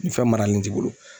Ni fɛn maralen t'i bolo